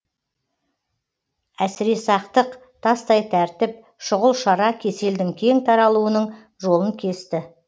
әсіресақтық тастай тәртіп шұғыл шара кеселдің кең таралуының жолын кесті